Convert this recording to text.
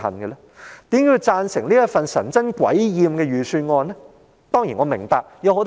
為何要贊成通過這份神憎鬼厭的預算案呢？